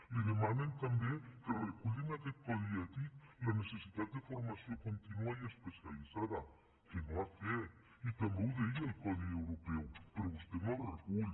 li demanen també que reculli en aquest codi ètic la necessitat de formació contínua i especialitzada que no ha fet i també ho deia el codi europeu però vostè no el recull